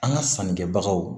An ka sannikɛbagaw